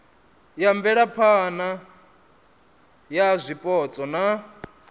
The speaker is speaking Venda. ya mvelaphana ya zwipotso na